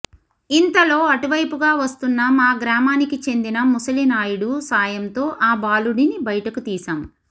ఇంతలో అటువైపుగా వస్తున్న మా గ్రామానికి చెందిన ముసలినాయుడు సాయంతో ఆ బాలుడిని బయటకు తీశాం